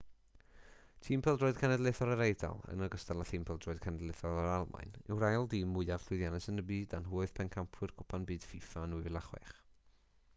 tîm pêl-droed cenedlaethol yr eidal yn ogystal â thîm pêl-droed cenedlaethol yr almaen yw'r ail dîm mwyaf llwyddiannus yn y byd a nhw oedd pencampwyr cwpan byd fifa yn 2006